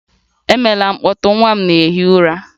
Emela mkpọtụ! Nwa m na-ehi ụra